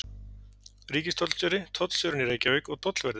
Ríkistollstjóri, tollstjórinn í Reykjavík og tollverðir.